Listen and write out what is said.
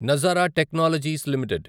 Nazara technologies limited